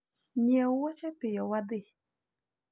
nyiew woche piyo wadhi